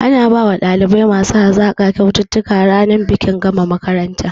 Ana bawa ɗalibai masu hazaƙa kyaututtuka ranar bikin gama makaranta